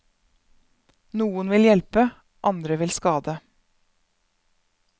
Noen vil hjelpe, andre vil skade.